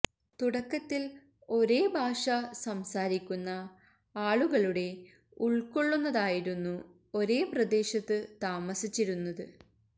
തുടക്കത്തിൽ ഒരേ ഭാഷ സംസാരിക്കുന്ന ആളുകളുടെ ഉൾക്കൊള്ളുന്നതായിരുന്നു ഒരേ പ്രദേശത്ത് താമസിച്ചിരുന്നത്